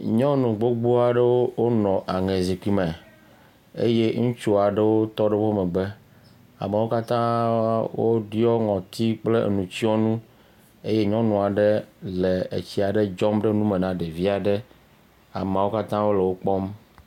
Nyɔnu gbogbo aɖewo nɔ aŋezikpui me eye ŋutsu aɖewo tɔ ɖe wo megbe. Amewo katã woɖiɔ ŋɔtsi kple enu tsɔnu eye nyɔnu aɖe le etsi aɖe dzɔm ɖe nu me na ɖevi aɖe. ameawo katã le wo kpɔm.